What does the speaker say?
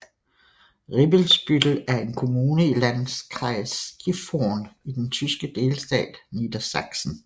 Ribbesbüttel er en kommune i Landkreis Gifhorn i den tyske delstat Niedersachsen